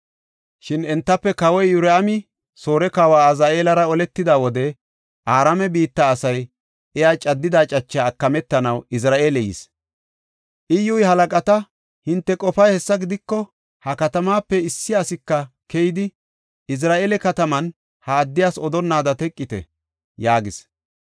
Shin entafe kawoy Iyoraami Soore kawa Azaheelara oletida wode, Araame biitta asay iya caddida cachas Izra7eele yis. Iyyuy halaqata, “Hinte qofay hessa gidiko, ha katamaape issi asika keyidi, Izra7eele kataman ha odaa odonnaada teqite” yaagis.